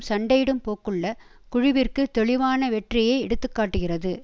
சண்டையிடும் போக்குள்ள குழுவிற்கு தெளிவான வெற்றியை எடுத்து காட்டுகிறது